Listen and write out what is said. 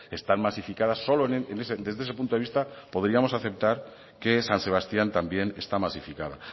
están masificadas solo desde ese punto de vista podríamos aceptar que san sebastián también está masificada